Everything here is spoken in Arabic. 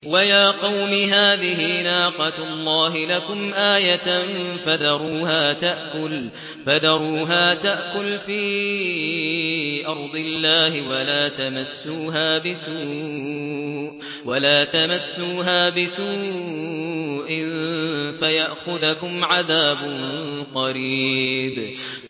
وَيَا قَوْمِ هَٰذِهِ نَاقَةُ اللَّهِ لَكُمْ آيَةً فَذَرُوهَا تَأْكُلْ فِي أَرْضِ اللَّهِ وَلَا تَمَسُّوهَا بِسُوءٍ فَيَأْخُذَكُمْ عَذَابٌ قَرِيبٌ